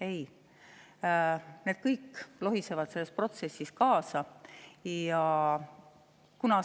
Ei, need kõik lohisevad selle protsessi käigus kaasa.